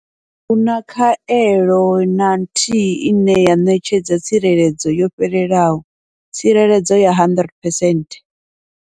Ahuna khaelo na nthihi ine ya ṋetshedza tsireledzo yo fhelelaho tsireledzo ya 100 percent.